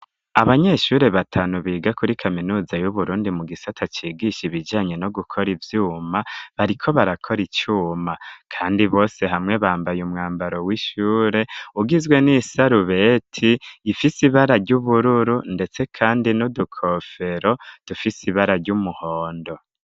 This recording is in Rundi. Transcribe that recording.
Abanyeshure batanu, biga kuri kaminuza y'Uburundi, mu gisata cigisha, ibijanye no gukora ivyuma; bariko barakora icuma, kandi bose hamwe, bambaye umwambaro w'ishure, ugizwe n'isarubeti, ifise ibara ry'ubururu, ndetse kandi, n'udukofero, dufise ibara ry'umuhondo.